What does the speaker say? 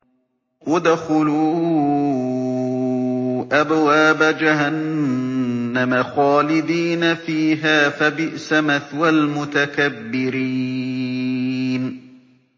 ادْخُلُوا أَبْوَابَ جَهَنَّمَ خَالِدِينَ فِيهَا ۖ فَبِئْسَ مَثْوَى الْمُتَكَبِّرِينَ